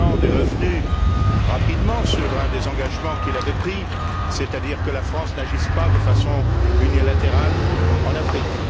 Hollande est revenu rapidement sur un des engagements qu'il avait pris, c'est à dire que la France n'agisse pas de façon unilatérale en Afrique.